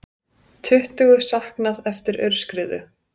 Tuttugu saknað eftir aurskriðu